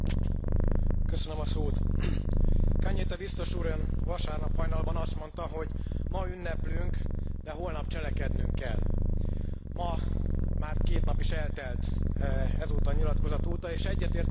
Cañete Bitzos Úr, Ön vasárnap hajnalban azt mondta, hogy ma ünneplünk, de holnap cselekednünk kell. Mára már két nap is eltelt azóta a nyilatkozat óta, és egyetértünk abban, hogy eljött az ideje a cselekvésnek.